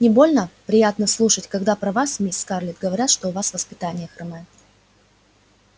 не больно приятно слушать когда про вас мисс скарлетт говорят что у вас воспитание хромает